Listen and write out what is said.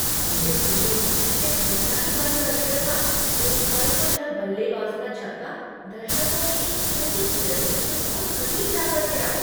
मेरे दिल ने जैसे धड़कना ही बंद कर दिया था एक पल को जब बल्लेबाज का छक्का दर्शकों में एक छोटी सी लड़की के बहुत करीब जा कर गिरा।